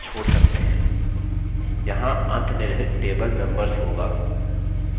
यहाँ अंतनिर्हित table members होगा